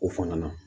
O fana na